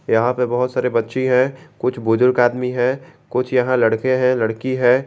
यहां पे बच्ची है कुछ बुजुर्ग आदमी है कुछ यहां लड़के हैं लड़की है।